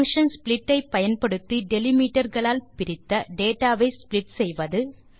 function split ஐ பயன்படுத்தி delimiter களால் பிரித்த டேட்டா வை ஸ்ப்ளிட் செய்வது